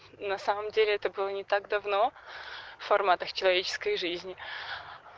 на самом деле это было не так давно в форматах человеческой жизни